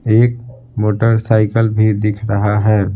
एक मोटरसाइकिल भी दिख रहा है।